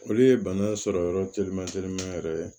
Olu ye bana sɔrɔ yɔrɔ teliman te